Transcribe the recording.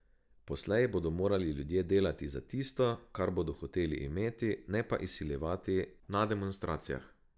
Poslej bodo morali ljudje delati za tisto, kar bodo hoteli imeti, ne pa izsiljevati na demonstracijah.